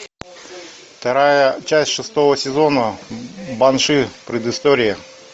вторая часть шестого сезона банши предыстория